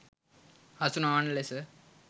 හසු නොවන ලෙස